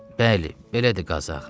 Bəli, belədir Qazı ağa.